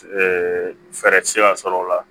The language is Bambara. fɛɛrɛ tɛ se ka sɔrɔ o la